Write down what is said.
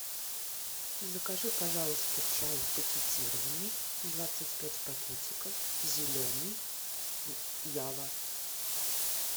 закажи пожалуйста чай пакетированный двадцать пять пакетиков зеленый ява